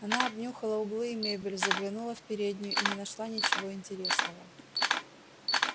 она обнюхала углы и мебель заглянула в переднюю и не нашла ничего интересного